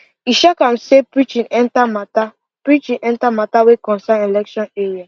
e shock am say preaching enter matter preaching enter matter wey concern election